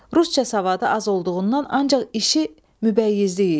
Rusca savadı az olduğundan ancaq işi mübəyyizlik idi.